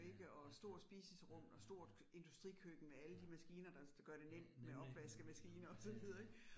Ja, ja ja, ja ja ja, ja. Ja nemlig nemlig ja ja ja